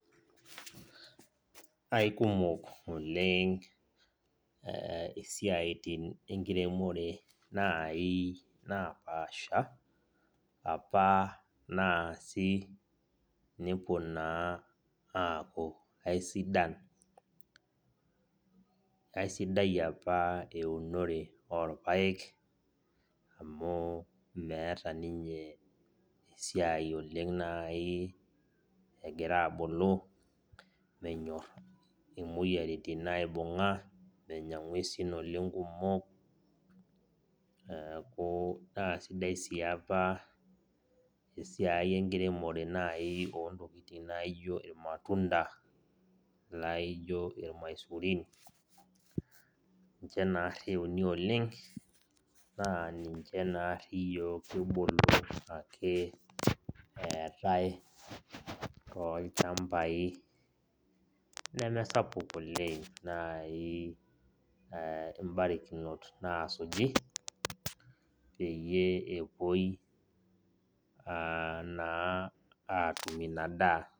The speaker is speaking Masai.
Aikumok oleng isiaitin enkiremore nai napaasha, apa naasi nepuo naa aaku aisidan. Aisidai apa eunore orpaek, amu meeta ninye esiai oleng nai egira abulu, menyor imoyiaritin aibung'a, menya ing'uesin oleng kumok. Neeku, naa sidai si apa esiai enkiremore nai ontokiting naijo irmatunda, laijo irmaisurin, ninche narri euni oleng, naa ninche naarri yiok kibulu ake eetae tolchambai. Nemesapuk oleng nai ibarakinot nasuji, peyie epuoi naa atum inadaa.